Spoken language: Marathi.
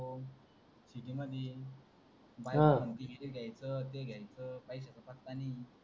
अह बायको म्हणते हे घ्यायच ते घ्यायचं काहीच पत्ता नाही